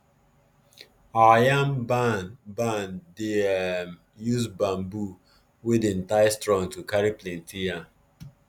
our yam barn barn dey um use bamboo wey dem tie strong to carry plenty yam